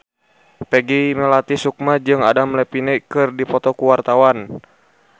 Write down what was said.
Peggy Melati Sukma jeung Adam Levine keur dipoto ku wartawan